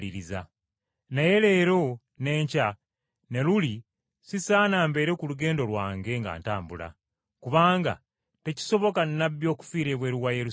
Naye leero, n’enkya, ne luli nsaana mbeere ku lugendo lwange nga ntambula, kubanga tekisoboka nnabbi okufiira ebweru wa Yerusaalemi!